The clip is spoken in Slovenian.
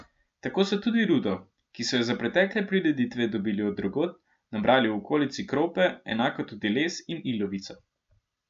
Tako so tudi rudo, ki so jo za pretekle prireditve dobili od drugod, nabrali v okolici Krope, enako tudi les in ilovico.